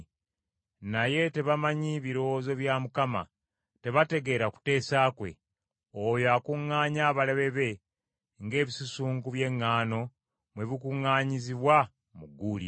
Naye tebamanyi birowoozo bya Mukama ; tebategeera kuteesa kwe; oyo akuŋŋaanya abalabe be ng’ebinywa by’eŋŋaano bwe bikuŋŋaanyizibwa mu gguuliro.